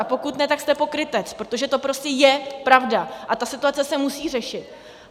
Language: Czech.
A pokud ne, tak jste pokrytec, protože to prostě je pravda, a ta situace se musí řešit.